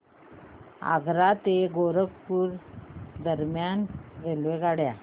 आग्रा ते गोरखपुर दरम्यान रेल्वेगाड्या